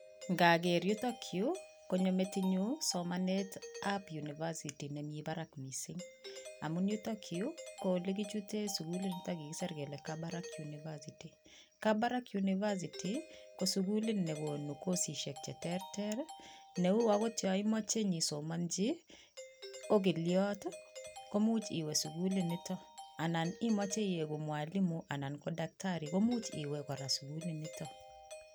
Ngaker yutok yuu konyo metinyun somanetab University nemii barak mising amun yutok yuu ko olekichuten sukul ak kikisir kelee Kabarak University, Kabarak University ko sukulit newo ne kosisiek cheterter neu okot yoon imoche inyoisomonchi okiliot komuch iwee sukul nitok anan imoche iyeiku mwalimu anan ko daktari komuch iwee kora sukuliniton.